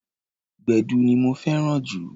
Gbẹ̀du ni mo fẹ́ràn jù.